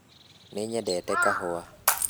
Nĩnyendete kahũa